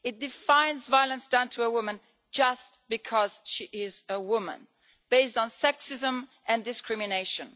It defines violence done to a woman just because she is a woman, based on sexism and discrimination.